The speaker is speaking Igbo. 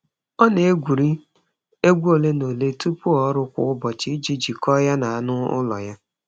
Ọ na-egwuri egwu ole na ole tupu ọrụ kwa ụbọchị iji jikọọ ya na anụ ụlọ ya.